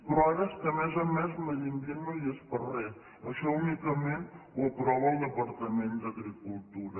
però ara és que a més a més medi ambient no hi és per a re això únicament ho aprova el departament d’agricultura